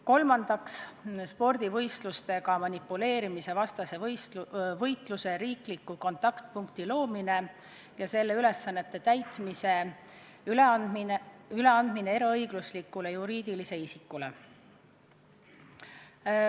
Kolmandaks, spordivõistlustega manipuleerimise vastase võitluse riikliku kontaktpunkti loomine ja selle ülesannete täitmise üleandmine eraõiguslikule juriidilisele isikule.